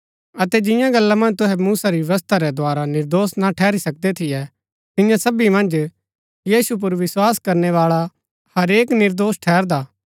अतै जिंआं गल्ला मन्ज तुहै मुसा री व्यवस्था रै द्धारा निर्दोष ना ठहरी सकदै थियै तियां सबी मन्ज यीशु पुर विस्वास करनैवाळा हरेक निर्दोष ठहरदा